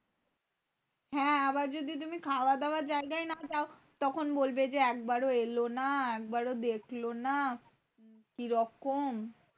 হ্যাঁ আবার যদি তুমি খাওয়া-দাওয়ার জায়গায় না যাও তখন বলবে যে একবার এলো না। একবারো দেখলে না, কি রকম?